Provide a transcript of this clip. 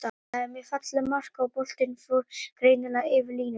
Þetta var mjög fallegt mark, og boltinn fór greinilega yfir línuna.